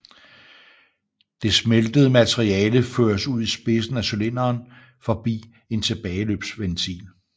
Det smeltede materiale føres ud i spidsen af cylinderen forbi en tilbageløbsventil